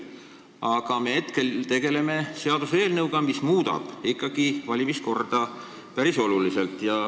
Aga me tegeleme hetkel ikkagi seaduseelnõuga, mis muudab valimiskorda päris oluliselt.